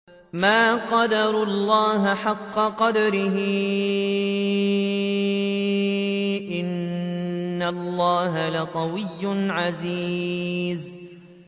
مَا قَدَرُوا اللَّهَ حَقَّ قَدْرِهِ ۗ إِنَّ اللَّهَ لَقَوِيٌّ عَزِيزٌ